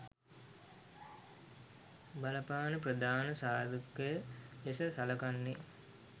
බලපාන ප්‍රධාන සාධකය ලෙස සලකන්නේ